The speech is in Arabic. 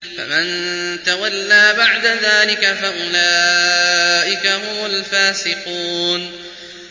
فَمَن تَوَلَّىٰ بَعْدَ ذَٰلِكَ فَأُولَٰئِكَ هُمُ الْفَاسِقُونَ